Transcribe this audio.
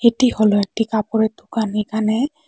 এটি হলো একটি কাপড়ের দুকান এখানে--